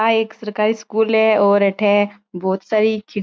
आ एक सरकारी स्कूल है और अठे बोहोत सारी खिड़की--